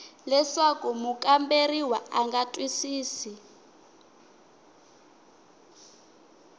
leswaku mukamberiwa a nga twisisi